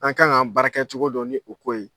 An ka k'an baara kɛ cogo dɔ ni o ko ye.